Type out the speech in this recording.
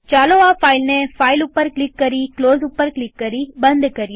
ચાલો આ ફાઈલને ફાઈલ ઉપર ક્લિક કરી ક્લોઝ ઉપર ક્લિક કરી બંધ કરીએ